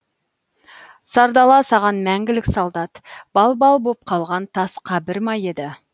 сардала саған мәңгілік солдат балбал боп қалған тас қабір ма еді